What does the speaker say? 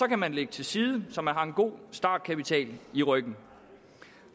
man lægge til side så man har en god startkapital i ryggen